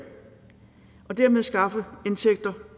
og dermed skaffe indtægter